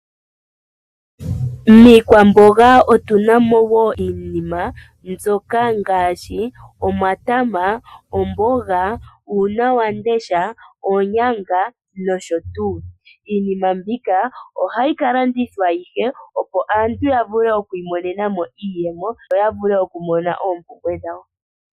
Iikwamboga mbi tuna ongaashi omatama, omboga, uunawamundesha, oonyanga nosho tuu. Iinima mbika ohayi kalandithwa opo aantu yamone iiyemo ya vule oku gwanitha po oompumbwe dhawo.